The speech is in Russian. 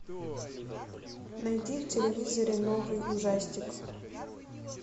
найди в телевизоре новый ужастик